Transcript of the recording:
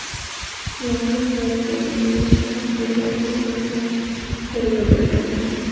Noxush hodisaga nima sabab bo‘lgani yuzasidan tergov boshlangan.